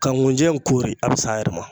Ka nkunjɛ koori a bɛ s'a yɛrɛ ma